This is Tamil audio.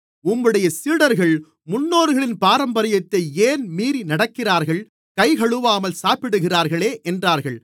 உம்முடைய சீடர்கள் முன்னோர்களின் பாரம்பரியத்தை ஏன் மீறி நடக்கிறார்கள் கைகழுவாமல் சாப்பிடுகிறார்களே என்றார்கள்